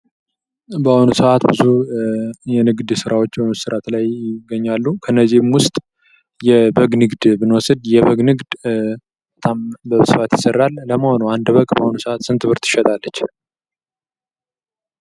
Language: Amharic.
በአሁኑ ሰዓት ብዙ የንግድ ስራዎች በመሰራት ላይ ይገኛሉ ። ከእነዚህም ውስጥ የበግ ንግድ ብንወስድ የበግ ንግድ በጣም በስርዓት ይሰራል ። ለመሆኑ አንድ በግ በአሁኑ ሰዓት ስንት ብር ትሸጣለች ?